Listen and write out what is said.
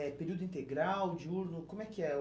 é período integral, diurno, como é que é?